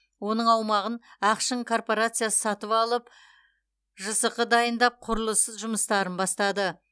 оның аумағын ақшың корпорациясы сатып алып жсқ дайындап құрылысы жұмыстарын бастады